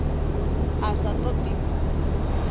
a sa todi u ḽa